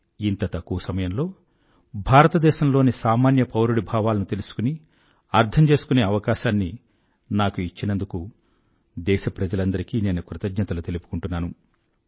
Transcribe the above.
ఇంత తక్కువ సమయంలో భారతదేశంలోని సామాన్యపౌరుడి భావాలను తెలుసుకుని అర్థం చేసుకునే అవకాశాన్ని నాకు ఇచ్చినందుకు దేశప్రజలందరికీ నేను కృతజ్ఞతలు తెలుపుకుంటున్నాను